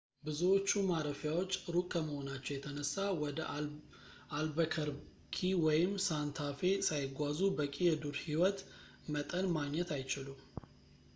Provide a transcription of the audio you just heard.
ብዙዎቹ ማረፊያዎች ሩቅ ከመሆናቸው የተነሳ ወደ አልበከርኪ ወይም ሳንታ ፌ ሳይጓዙ በቂ የዱር ህይወት መጠን ማግኘት አይችሉም